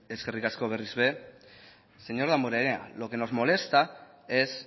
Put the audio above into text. eskerrik asko berriz ere señor damborenea lo que nos molesta es